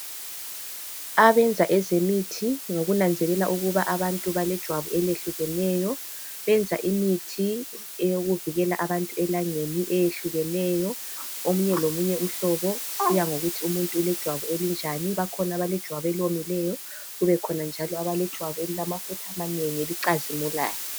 Abenza ezemithi ngokunanzela ukuba abantu balejwabu elehlukeneyo, benza imithi eyokuvikela abantu elangeni eyehlukeneyo. Omunye lomunye umhlobo kuya ngokuthi umuntu ulejwabu elinjani. Bakhona abalejwabu eliwomileyo , kube khona njalo abalejwabu elilamafutha amanengi elicazimulayo.